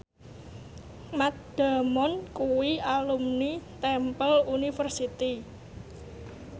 Matt Damon kuwi alumni Temple University